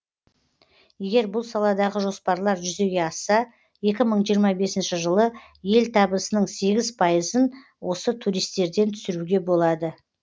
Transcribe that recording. егер бұл саладағы жоспарлар жүзеге асса екі мың жиырма бесінші жылы ел табысының сегіз пайызын осы туристерден түсіруге болады